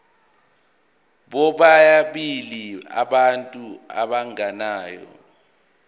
bobabili abantu abagananayo